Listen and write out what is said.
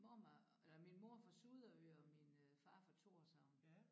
Mormor eller min mor er fra Suderø og min øh far er fra Thorshavn